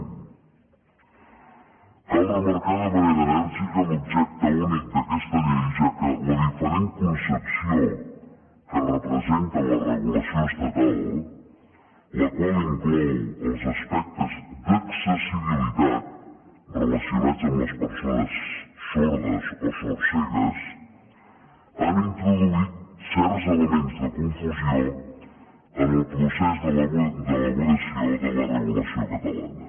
cal remarcar de manera enèrgica l’objecte únic d’aquesta llei ja que la diferent concepció que representa en la regulació estatal la qual inclou els aspectes d’accessibilitat relacionats amb les persones sordes o sordcegues ha introduït certs elements de confusió en el procés d’elaboració de la regulació catalana